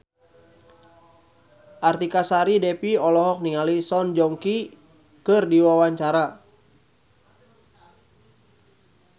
Artika Sari Devi olohok ningali Song Joong Ki keur diwawancara